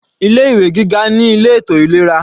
Ilé ìwé gíga ní ilé ètò ìlera.